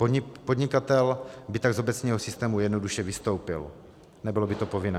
Podnikatel by tak z obecního systému jednoduše vystoupil, nebylo by to povinné.